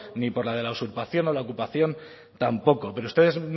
ni por la de la usurpación o la ocupación tampoco pero ustedes